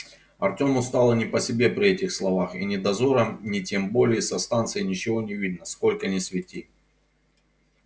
артёму стало не по себе при этих словах и ни дозорам ни тем более со станции ничего не видно сколько ни свети